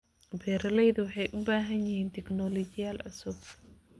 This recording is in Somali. Beeraleydu waxay u baahan yihiin tignoolajiyad cusub.